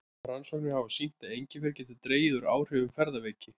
Rannsóknir hafa sýnt að engifer getur dregið úr áhrifum ferðaveiki.